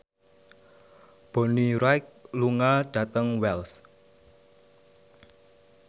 Bonnie Wright lunga dhateng Wells